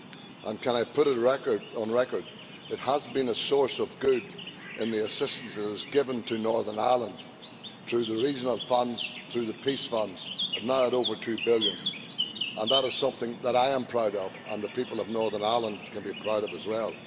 And can I put it on record that it has been a source of good in the assistance it has given to Northern Ireland through the regional funds, through the Peace funds, now at over EUR 2 billion, and that is something that I am proud of and the people of Northern Ireland can be proud of as well.